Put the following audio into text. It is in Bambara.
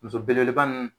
Muso belebeleba ninnu